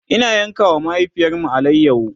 Ina yanka wa mahaifiyarmu alayaho